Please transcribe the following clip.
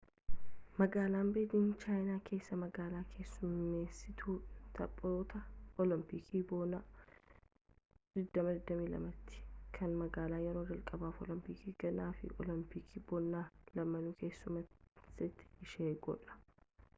magaalaan beejiing chaayinaa keessaa magaalaa keessummeessituu taphoota olompikii bonaa 2022ti kan magaala yeroo jalqabaaf olompikii gannaa fi olompikii bonaa lamaanuu keessummeessite ishee godha